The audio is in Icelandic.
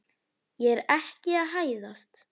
Ég er ekki að hæðast.